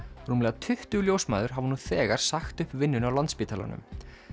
rúmlega tuttugu ljósmæður hafa nú þegar sagt upp vinnunni á Landspítalanum